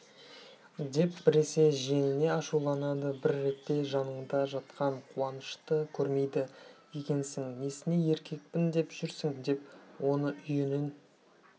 деп біресе жиеніне ашуланады бір ретте жаныңда жатқан қуанышты көрмейді екенсің несіне еркекпін деп жүрсің деп оны үйінен